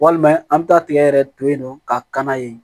Walima an bɛ taa tigɛ yɛrɛ to yen nɔ ka na yen